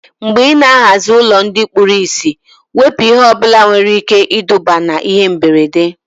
Mgbe ị ná-ahazi ụlọ ndị kpụrụ isi, wepụ ihe ọbụla nwere ike iduba na ihe mberede